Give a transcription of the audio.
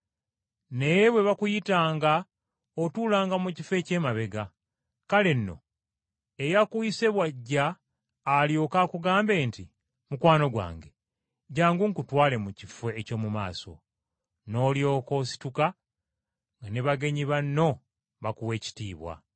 Naye bwe bakuyitanga, otuulanga mu kifo eky’emabega, kale nno eyakuyise bw’ajja alyoke akugambe nti, ‘Mukwano gwange, jjangu nkutwale mu kifo eky’omu maaso.’ Noolyoka osituka nga ne bagenyi banno bakuwa ekitiibwa.